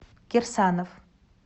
кирсанов